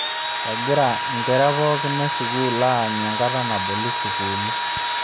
Egira nkera pookin esukuul aanyu enkata naboli sukuuli.